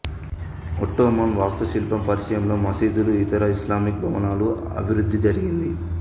Ottoman వాస్తుశిల్పం పరిచయంలో మసీదులు ఇతర ఇస్లామిక్ భవనాల అభివృద్ధి జరిగింది